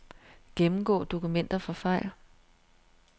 Gennemgå dokumenter for fejl.